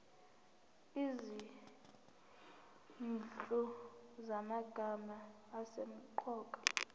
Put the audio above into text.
izinhlu zamagama asemqoka